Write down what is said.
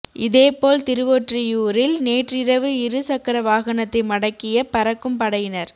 இதேபோல் திருவொற்றியூரில் நேற்றிரவு இரு சக்கர வாகனத்தை மடக்கிய பறக்கும் படையினர்